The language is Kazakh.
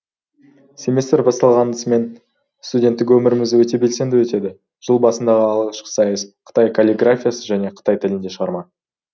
семестр басталғасымен студенттік өміріміз өте белсенді өтеді жыл басындағы алғашқы сайыс қытай каллиграфиясы және қытай тілінде шығарма